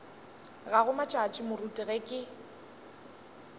gago matšatši moruti ge ke